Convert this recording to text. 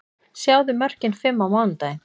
Sjáðu mörkin fimm á mánudaginn: